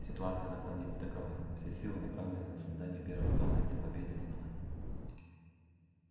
ситуация на планете такова все силы направлены на создание первого тома энциклопедии основания